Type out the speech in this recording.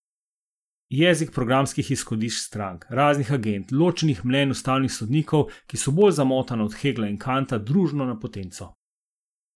Jezik programskih izhodišč strank, raznih agend, ločenih mnenj ustavnih sodnikov, ki so bolj zamotana od Hegla in Kanta družno na potenco.